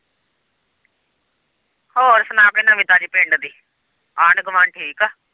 ਹੋਰ ਸੁਣਾ ਕੋਈ ਨਵੀਂ ਤਾਜ਼ੀ ਪਿੰਡ ਦੀ ਆਂਢ-ਗੁਆਂਢ ਠੀਕ ਏ।